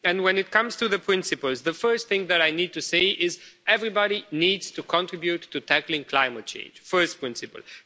When it comes to the principles, the first thing that I need to say is everybody needs to contribute to tackling climate change. That's the first principle.